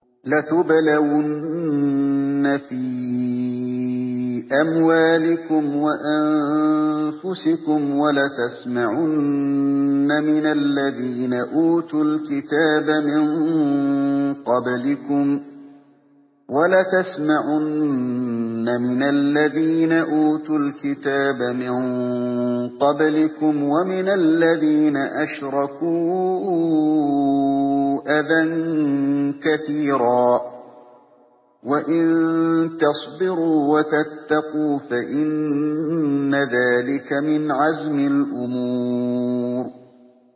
۞ لَتُبْلَوُنَّ فِي أَمْوَالِكُمْ وَأَنفُسِكُمْ وَلَتَسْمَعُنَّ مِنَ الَّذِينَ أُوتُوا الْكِتَابَ مِن قَبْلِكُمْ وَمِنَ الَّذِينَ أَشْرَكُوا أَذًى كَثِيرًا ۚ وَإِن تَصْبِرُوا وَتَتَّقُوا فَإِنَّ ذَٰلِكَ مِنْ عَزْمِ الْأُمُورِ